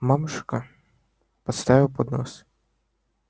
мамушка поставила поднос